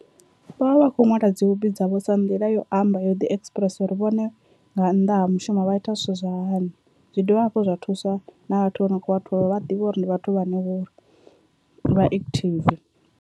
Vhavha vha khou ṅwala dzi hobi dzavho sa nḓila yo amba yo ḓi expressa uri vhone nga nnḓa ha mushumo vha ita zwithu zwa hani zwi dovha hafhu zwa thusa na vhathu vho no kho vha thola vha ḓivhe uri ndi vhathu vhane vho vha active.